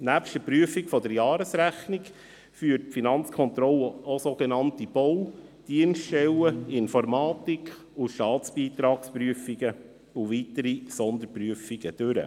Nebst der Prüfung der Jahresrechnung führt die Finanzkontrolle auch sogenannte Bau-, Dienststellen-, Informatik- und Staatsbeitragsprüfungen sowie weitere Sonderprüfungen durch.